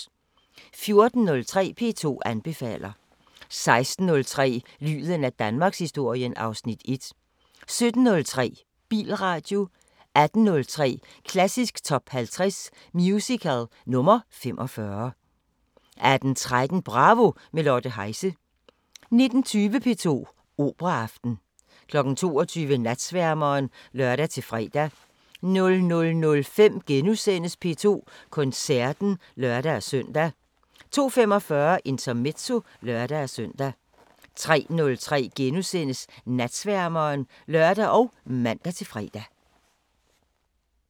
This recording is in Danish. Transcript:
14:03: P2 anbefaler 16:03: Lyden af Danmarkshistorien (Afs. 1) 17:03: Bilradio 18:03: Klassisk Top 50 Musical – nr. 45 18:13: Bravo – med Lotte Heise 19:20: P2 Operaaften 22:00: Natsværmeren (lør-fre) 00:05: P2 Koncerten *(lør-søn) 02:45: Intermezzo (lør-søn) 03:03: Natsværmeren *(lør og man-fre)